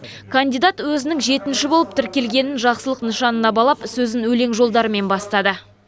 кандидат өзінің жетінші болып тіркелгенін жақсылық нышанына балап сөзін өлең жолдарымен бастады